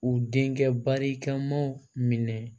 U denkɛ barikamaw minɛ